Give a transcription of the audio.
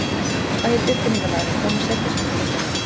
Hvað hét uppfinningarmaðurinn Thomas Edison að millinafni?